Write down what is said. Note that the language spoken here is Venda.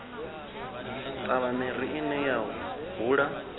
ṱavha miri ine ya hula